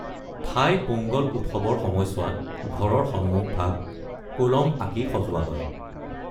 থাই পোংগল উৎসৱৰ সময়ছোৱাত ঘৰৰ সন্মুখভাগ কোলম আঁকি সজোৱা হয়।